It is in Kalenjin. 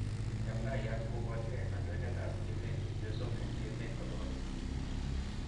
Chamdaiyat koporchigee kandoinatet ap emeet chepyosok en emeet kotugul